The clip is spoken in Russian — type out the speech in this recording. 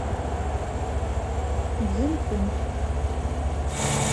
цзинхун